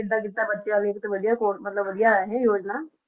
ਕੀਤਾ ਬੱਚਿਆਂ ਲਈ ਤਾਂ ਵਧੀਆ ਕੋਰ~ ਮਤਲਬ ਵਧੀਆ ਹੈ ਇਹ ਯੋਜਨਾ।